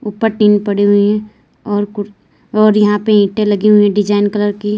ऊपर टिन पड़ी हुई हैं और कु और यहां पे ईंटें लगी हुई हैं डिजाइन कलर की।